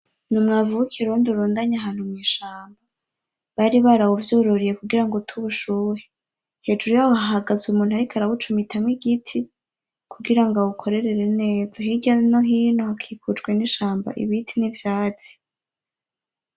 Ni umwavu w'ikirundi urundanye ahantu mw'ishamba bari baravyururiye kugirango ute ubushuhe, hejuru yaho hahagaze umuntu ariko arawucumitamwo igiti kugirango awukorere neza hirya no hino hakikujwe nishamba, ibiti n'ivyatsi.